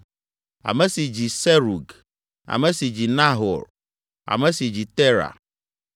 ame si dzi Serug, ame si dzi Nahor, ame si dzi Tera,